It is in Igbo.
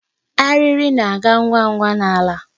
Ariri na-aga ngwa ngwa n'ala.